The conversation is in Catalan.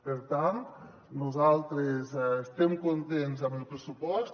per tant nosaltres estem contents amb el pressupost